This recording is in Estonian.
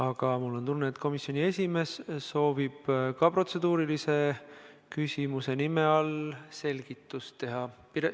Aga mul on tunne, et komisjoni esimees soovib protseduurilise küsimuse nime all selgitust anda.